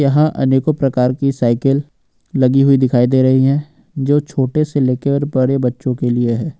यहां अनेकों प्रकार की साइकिल लगी हुई दिखाई दे रही है जो छोटे से लेकर और बड़े बच्चों के लिए है।